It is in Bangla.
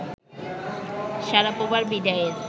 শারাপোভার বিদায়ের